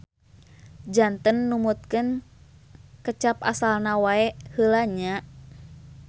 Janten numutkeun kecap asalna wae heula nya.